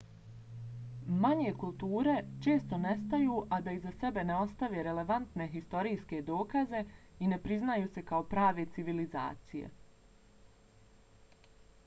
manje kulture često nestaju a da iza sebe ne ostave relevantne historijske dokaze i ne priznaju se kao prave civilizacije